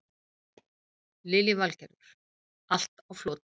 Lillý Valgerður: Allt á floti?